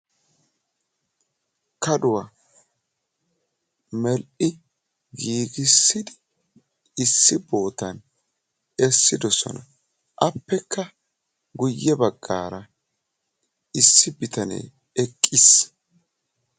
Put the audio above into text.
kaduwa medhdhi giigissidi issi bootan essidosona. appekka guyye baggaara issi bitanee eqqis.